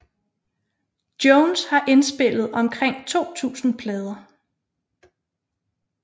Jones har indspillet omkring 2000 plader